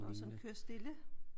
Nå sådan kør stille?